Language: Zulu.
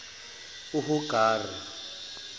uhagari